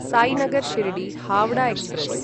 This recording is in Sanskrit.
सायिनगर् शिर्डी हावडा एक्स्प्रेस्